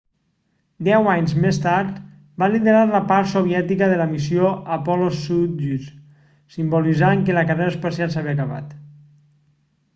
deu anys més tard va liderar la part soviètica de la missió apollo-soyuz simbolitzant que la carrera espacial s'havia acabat